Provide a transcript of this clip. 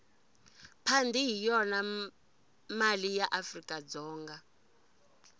pandi hhiyona male yaafrikadzonga